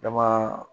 Kabaa